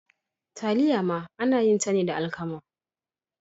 Taliya ma ana yin ta ne da alkama.